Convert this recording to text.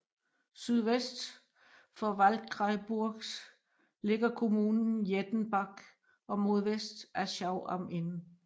Sydvest for Waldkraiburgs ligger kommunen Jettenbach og mod vest Aschau am Inn